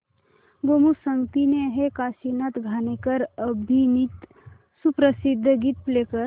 गोमू संगतीने हे काशीनाथ घाणेकर अभिनीत सुप्रसिद्ध गीत प्ले कर